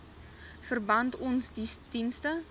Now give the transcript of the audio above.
verband ons dienste